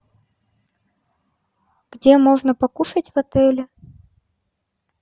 где можно покушать в отеле